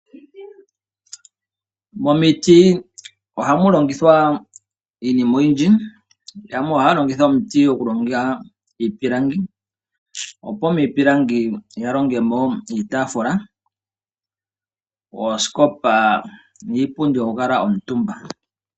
Momiti ohamu longithwa iinima oyindji. Yamwe ohaya longitha omiti oku longa iipilangi, opo miipilangi ya longe mo iitaafula, oosikopa niipundi yo ku kuutumbwa.